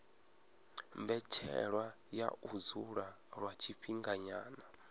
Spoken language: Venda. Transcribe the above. mbetshelwa ya u dzula lwa tshifhinganyana